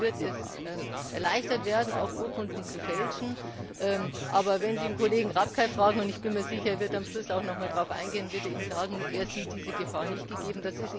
Zumindest wird es erleichtert werden, auch Urkunden zu fälschen. Aber wenn Sie den Kollegen Rapkay fragen und ich bin mir sicher, er wird am Schluss auch noch einmal darauf eingehen wird er Ihnen sagen, er sieht diese Gefahr nicht gegeben.